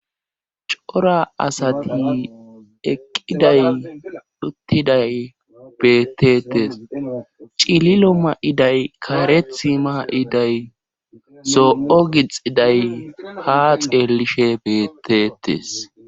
cora asati eqqiday duttiday betetes cililo ma7iday kaarethi ma7iday zoo7o gixiday ha xeelishe beetetes